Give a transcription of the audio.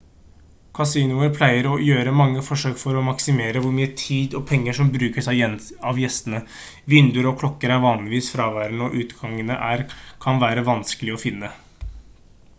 kasinoer pleier å gjøre mange forsøk for å maksimere hvor mye tid og penger som brukes av gjestene vinduer og klokker er vanligvis fraværende og utgangene kan være vanskelig å finne